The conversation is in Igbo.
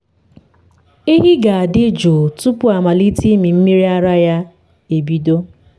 ehi ga-adị jụụ tupu amalite ịmị mmiri ara ya ya ebido.